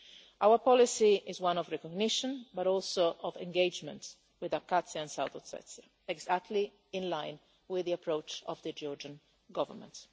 Our policy is one of non recognition but also of engagement with Abkhazia and South Ossetia, exactly in line with the approach of the Georgian Government.